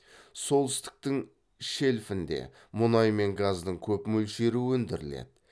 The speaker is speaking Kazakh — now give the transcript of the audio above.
солтүстіктің шельфінде мұнай мен газдың көп мөлшері өндіріледі